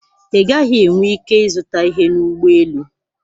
Ị gaghị enwe ike ịzụta ihe na ụgbọ elu.